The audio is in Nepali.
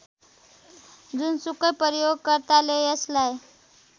जुनसुकै प्रयोगकर्ताले यसलाई